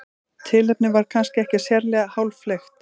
tilefnið var kannski ekki sérlega háfleygt